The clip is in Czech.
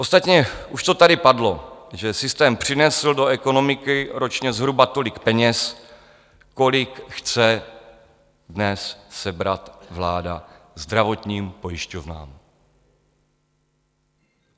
Ostatně už to tady padlo, že systém přinesl do ekonomiky ročně zhruba tolik peněz, kolik chce dnes sebrat vláda zdravotním pojišťovnám.